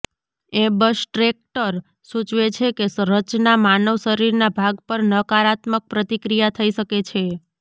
abstract સૂચવે છે કે રચના માનવ શરીરના ભાગ પર નકારાત્મક પ્રતિક્રિયા થઇ શકે છે